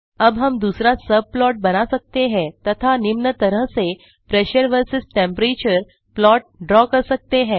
अब हम दूसरा सबप्लॉट बना सकते हैं तथा निम्न तरह से pressure versus temperature plot draw कर सकते हैं